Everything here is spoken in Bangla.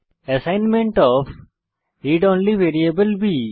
assignment of read only variable B